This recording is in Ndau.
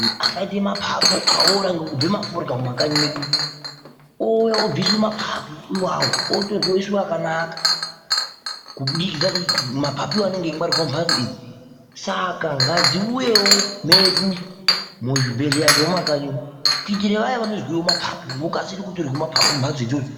neangaite maphaphu aora ngokubhema forya mumakanyi medu. Ouya obviswa maphaphu iwawo, otorwa oiswa akanaka kubudikidza maphaphu iwawo anenge eingwarirwa mumbatso idzi. Saka ngadziuyewo medu muzvibhedhleya zvemumakanyi umu, kuitire vaya vanozwewo maphaphu vokasira kutorwe maphaphu mumbatso idzodzo.